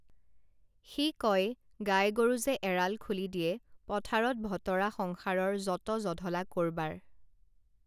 সি কয় গাই গৰু যে এৰাল খুলি দিয়ে পথাৰত ভতৰা সংসাৰৰ যত জধলা কৰবাৰ